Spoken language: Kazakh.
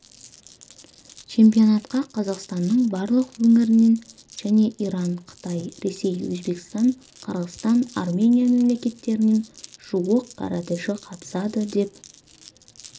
чемпионатқа қазақстанның барлық өңірінен және иран қытай ресей өзбекстан қырғызстан армения мемлекеттерінен жуық каратэші қатысады деп